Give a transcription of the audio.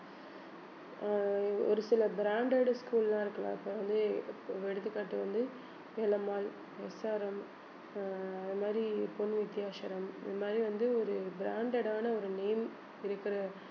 அஹ் ஒரு சில branded school எல்லாம் இருக்குல்ல இப்போ வந்து எடுத்துக்காட்டு வந்து வேலம்மாள் SRM அஹ் அது மாதிரி பொன் வித்யாசரம் இந்த மாதிரி வந்து ஒரு branded ஆன ஒரு name இருக்கிற